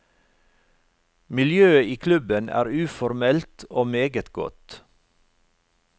Miljøet i klubben er uformelt og meget godt.